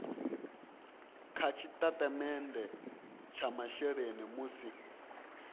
kha tshitatamennde tsha masheleni musi